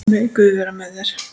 Megi Guð vera með þér.